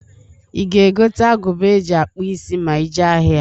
I ga-egota agụba e ji akpụ isi ma i jee ahịa?